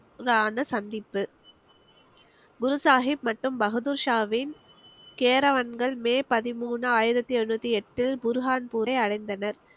~ரான சந்திப்பு குரு சாஹிப் மற்றும் பகதூர்ஷாவின் மே பதிமூணு ஆயிரத்தி எழுநூத்தி எட்டு புர்ஹான்பூரை அடைந்தனர்